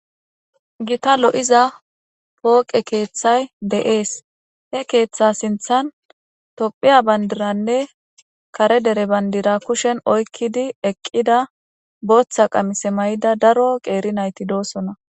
Gita lo7iza pooqe keeththay de7ees he keeththa sinthan tophiya bandiranne kare dere bandira kushen oykkidi eqqida booththa qamise may7ida daro qeeri nayti doosona.